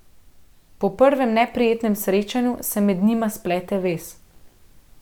Po prvem neprijetnem srečanju se med njima splete vez.